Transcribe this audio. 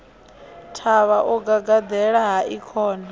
thavha o gagaḓela hai khona